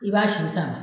I b'a si sama